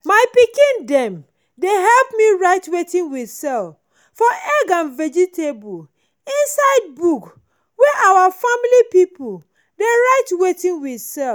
my pikin dem dey help me write wetin we sell for egg and vegetable inside book wey our family pipo dey write wetin we sell.